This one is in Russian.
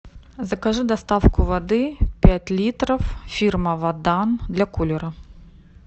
закажи доставку воды пять литров фирма водан для кулера